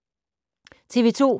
TV 2